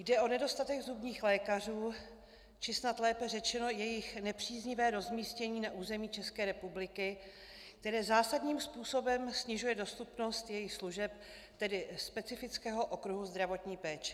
Jde o nedostatek zubních lékařů, či snad lépe řečeno jejich nepříznivé rozmístění na území České republiky, které zásadním způsobem snižuje dostupnost jejich služeb, tedy specifického okruhu zdravotní péče.